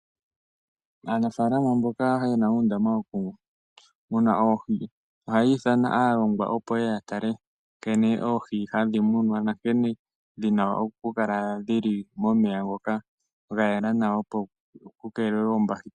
Aanafaalama mboka yena uundama woku muna oohi ohayiitha aalongwa opo ye ye yatale nkene oohi hadhi munwa nankene dhina okukala dhili momeya ngoka gayela nawa opo kukeelelwe oombahiteli.